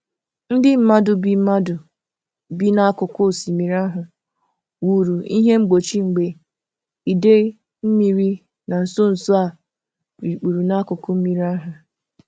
Ndị mmadụ bi mmadụ bi n'akụkụ osimiri ahụ wuru ihe mgbochi mgbe idei mmiri na nso nso a rikpuru n'akụkụ mmiri ahụ.